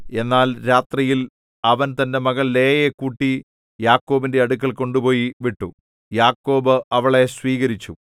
എന്നാൽ രാത്രിയിൽ അവൻ തന്റെ മകൾ ലേയയെ കൂട്ടി യാക്കോബിന്റെ അടുക്കൽ കൊണ്ടുപോയി വിട്ടു യാക്കോബ് അവളെ സ്വീകരിച്ചു